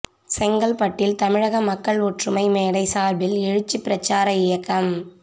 செங்கல்பட்டில் தமிழக மக்கள் ஒற்றுமை மேடை சாா்பில் எழுச்சி பிரச்சார இயக்கம்